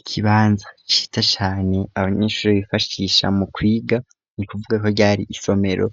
Ikibanza ciza cane abanyeshuri bifashisha mu kwiga ni kuvuga ko ryari isomero